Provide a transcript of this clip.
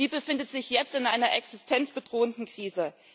Sie befindet sich jetzt in einer existenzbedrohenden Krise.